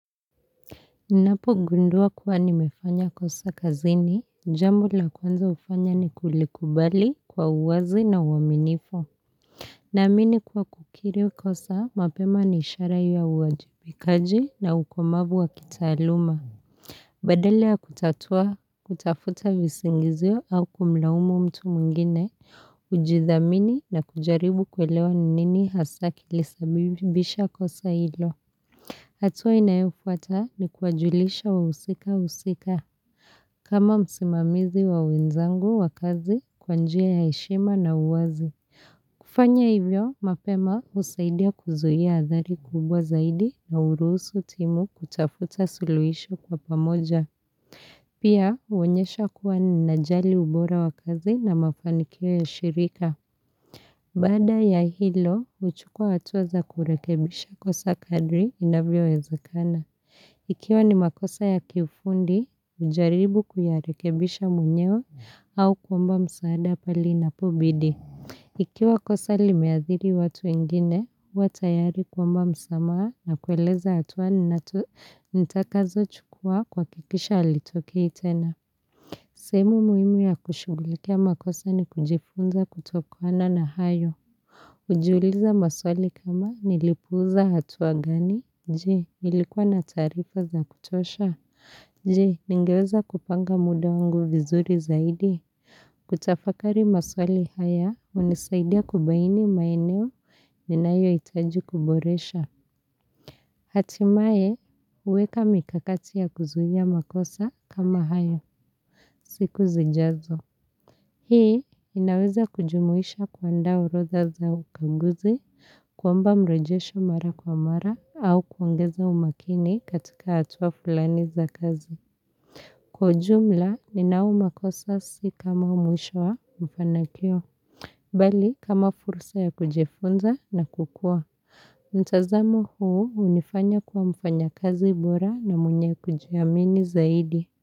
Ninapogundua kuwa nimefanya kosa kazini, jambo la kwanza hufanya ni kulikubali kwa uwazi na uaminifu Naamini kuwa kukiri kosa, mapema ni ishara ya uwajibikaji na ukomavu wa kitaaluma Badala ya kutatua, kutafuta visingizio au kumlaumu mtu mwingine, kujidhamini na kujaribu kuelewa ni nini hasa kilisababisha kosa hilo hatua inayofuata ni kuwajulisha wahusika husika, kama msimamizi wa wenzangu wa kazi kwa njia ya heshima na uwazi. Kufanya hivyo, mapema husaidia kuzuia athari kubwa zaidi na hurusu timu kutafuta suluhisho kwa pamoja. Pia, huonyesha kuwa ninajali ubora wa kazi na mafanikio ya shirika. Baada ya hilo, huchukua hatua za kurekebisha kosa kadri inavyowezekana. Ikiwa ni makosa ya kiufundi, hujaribu kuyarekebisha mwenyewe au kuomba msaada pale inapobidi. Ikiwa kosa limeadhiri watu wengine, huwa tayari kuomba msamaha na kueleza hatua nitakazochukua kuhakikisha halitokei tena. Sehemu muhimu ya kushughulikia makosa ni kujifunza kutokana na hayo. Kujiuliza maswali kama nilipuuza hatua gani? Jee, nilikuwa na tarifa za kutosha. Je, ningeweza kupanga muda wangu vizuri zaidi. Kutafakari maswali haya, hunisaidia kubaini maeneo ninayohitaji kuboresha. Hatimaye, huweka mikakati ya kuzuia makosa kama hayo. Siku zijazo. Hii, inaweza kujumuisha kuandaa orodha za ukaguzi, kuomba mrejesho mara kwa mara, au kuongeza umakini katika hatua fulani za kazi. Kwa ujumla, ninau makosa si kama mwisho wa mfanakio. Bali, kama fursa ya kujifunza na kukua. Mtazamo huu hunifanya kuwa mfanyakazi bora na mwenye kujiamini zaidi.